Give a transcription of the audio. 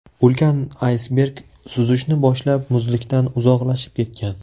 Ulkan aysberg suzishni boshlab, muzlikdan uzoqlashib ketgan.